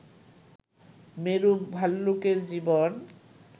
মেরু ভাল্লুকের জীবন